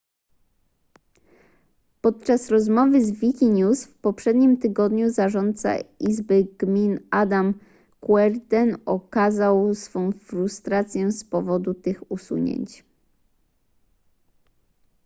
podczas rozmowy z wikinews w poprzednim tygodniu zarządca izby gmin adam cuerden okazał swą frustrację z powodu tych usunięć